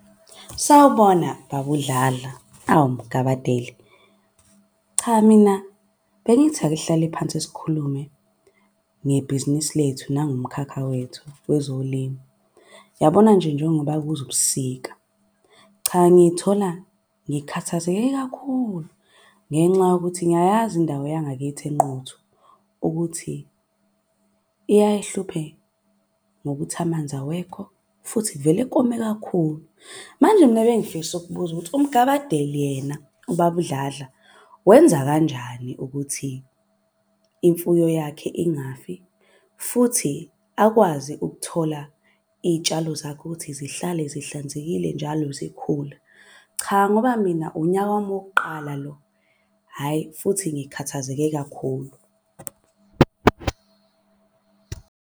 Sawubona baba uDladla, awu Mgabadeli. Cha mina bengithi ake sihlale phansi sikhulume ngebhizinisi lethu nangomkhakha wethu wezolimo. Yabona nje njengoba kuza ubusika, cha ngithola ngikhathazeke kakhulu ngenxa yokuthi ngiyayazi indawo yangakithi eNquthu. Ukuthi iyaye ihluphe ngokuthi amanzi awekho futhi kuvele kome kakhulu. Manje mina bengifisa ukubuza ukuthi uMgabadeli yena, ubaba uDladla wenza kanjani ukuthi imfuyo yakhe ingafi. Futhi akwazi ukuthola iy'tshalo zakho ukuthi zihlale zihlanzekile njalo zikhula. Cha, ngoba mina unyaka wami wokuqala lo, hhayi futhi ngikhathazeke kakhulu.